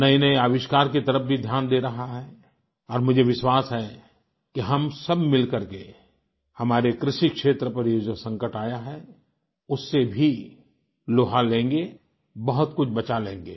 नएनए आविष्कार की तरफ़ भी ध्यान दे रहा है और मुझे विश्वास है कि हम सब मिलकर के हमारे कृषि क्षेत्र पर जो ये संकट आया है उससे भी लोहा लेंगे बहुत कुछ बचा लेंगे